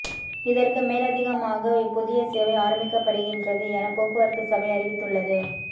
இதற்கு மேலதிகமாக இப்புதிய சேவை ஆரம்பிக்கப்படுகின்றது என போக்குவரத்து சபை அறிவித்துள்ளது